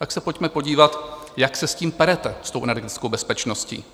Tak se pojďme podívat, jak se s tím perete, s tou energetickou bezpečností.